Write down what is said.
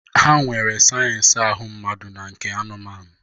Ha nwere sayensị ahụ mmadụ na nke anụmanụ.